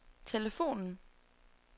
telefonen